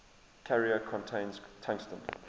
carrier contains tungsten